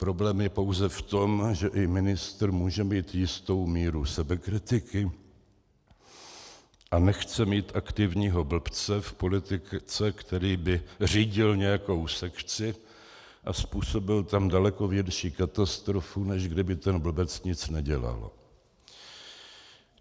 Problém je pouze v tom, že i ministr může mít jistou míru sebekritiky a nechce mít aktivního blbce v politice, který by řídil nějakou sekci a způsobil tam daleko větší katastrofu, než kdyby ten blbec nic nedělal.